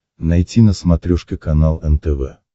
найти на смотрешке канал нтв